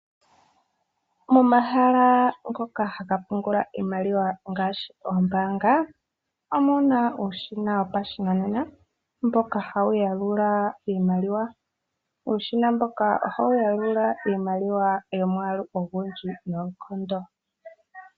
Momahala ngoka haga pungula iimaliwa ngaashi oombaanga omuna uushina wopashinanena, mboka hawu yalula iimaliwa. Uushina mboka oha wu yalula iimaliwa yomwaalu ogundji noonkondo.